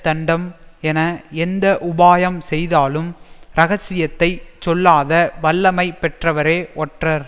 தண்டம் என எந்த உபாயம் செய்தாலும் ரகசியத்தைச் சொல்லாத வல்லமை பெற்றவரே ஒற்றர்